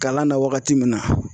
Kalan na wagati min na